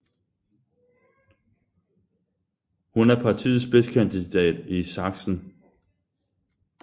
Hun er partiets spidskandidat i Sachsen